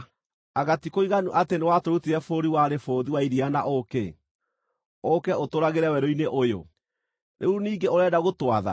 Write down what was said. Anga ti kũiganu atĩ nĩwatũrutire bũrũri warĩ bũthi wa iria na ũũkĩ ũũke ũtũũragĩre werũ-inĩ ũyũ? Rĩu ningĩ ũrenda gũtwatha?